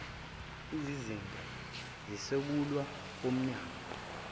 izizinda zisungulwe wumnyango